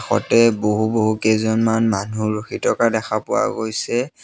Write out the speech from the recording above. কাষতে বহু-বহু কেইজনমান মানুহ ৰখি থকা দেখা পোৱা গৈছে।